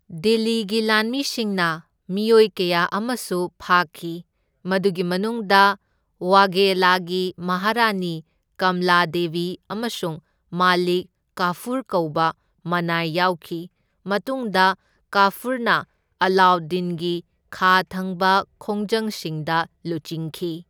ꯗꯤꯜꯂꯤꯒꯤ ꯂꯥꯟꯃꯤꯁꯤꯡꯅ ꯃꯤꯑꯣꯏ ꯀꯌꯥ ꯑꯃꯁꯨ ꯐꯥꯈꯤ, ꯃꯗꯨꯒꯤ ꯃꯅꯨꯡꯗ ꯋꯥꯘꯦꯂꯥꯒꯤ ꯃꯍꯥꯔꯥꯅꯤ ꯀꯝꯂꯥ ꯗꯦꯕꯤ ꯑꯃꯁꯨꯡ ꯃꯥꯂꯤꯛ ꯀꯥꯐꯨꯔ ꯀꯧꯕ ꯃꯅꯥꯏ ꯌꯥꯎꯈꯤ, ꯃꯇꯨꯡꯗ ꯀꯥꯐꯨꯔꯅ ꯑꯂꯥꯎꯗꯗꯤꯟꯒꯤ ꯈꯥ ꯊꯪꯕ ꯈꯣꯡꯖꯪꯁꯤꯡꯗ ꯂꯨꯆꯤꯡꯈꯤ꯫